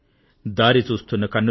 దారి చూస్తున్న కన్నులు